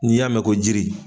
N'i y'a mɛn ko jiri.